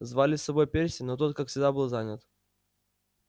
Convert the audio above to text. звали с собой перси но тот как всегда был занят